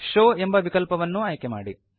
show ಎಂಬ ವಿಕಲ್ಪವನ್ನೂ ಆಯ್ಕೆ ಮಾಡಿ